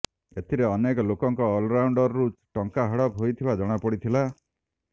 ଏଥିରେ ଅନେକ ଲୋକଙ୍କ ଆକାଉଣ୍ଡରୁ ଟଙ୍କା ହଡ଼ପ ହୋଇଥିବା ଜଣାପଡ଼ି ଥିଲା